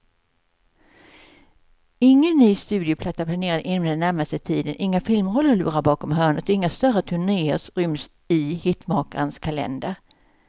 Ingen ny studioplatta är planerad inom den närmaste tiden, inga filmroller lurar bakom hörnet och inga större turnéer ryms i hitmakarens kalender.